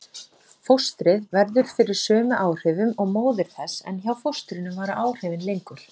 Fóstrið verður fyrir sömu áhrifum og móðir þess en hjá fóstrinu vara áhrifin lengur.